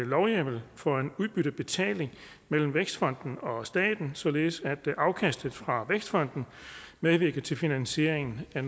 lovhjemmel for en udbyttebetaling mellem vækstfonden og staten således at afkastet fra vækstfonden medvirker til finansieringen af